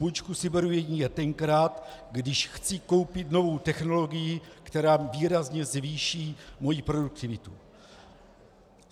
Půjčku si beru jedině tenkrát, když chci koupit novou technologii, která výrazně zvýší moji produktivitu.